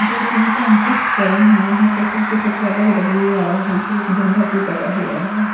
दो तीन टैंकिस पड़े हैं यहां पर सबके छत पर अलग अलग व्यू आ रहा है यहां पर एक झंडा भी लगा हुआ हैं।